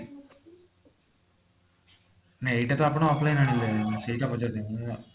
ନାଇଁ ଏଇଟା ତ ଆପଣ online ରୁ ଆଣିଲେ ମୁଁ ସେଇଟା ପଚାରୁଛି ହେଲା